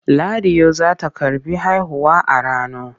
Ladiyo za ta karɓi haihuwa a Rano.